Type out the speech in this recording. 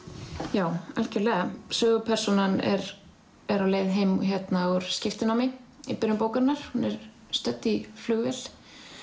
já algjörlega sögupersónan er á leið heim úr skiptinámi í byrjun bókarinnar hún er stödd í flugvél